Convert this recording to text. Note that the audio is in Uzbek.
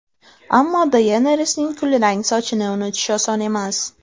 Ammo Deyenerisning kulrang sochini unutish oson emas.